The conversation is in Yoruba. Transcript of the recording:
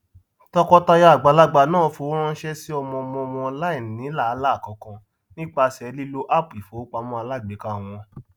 tọkọtaya àgbàlagbà náà fowóránṣé sí ọmọọmọ wọn láìní làálàá kankan nípasẹ lílo áápù ifowópamọ alágbèéká wọn